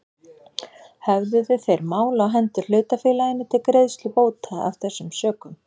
Höfðuðu þeir mál á hendur hlutafélaginu til greiðslu bóta af þessum sökum.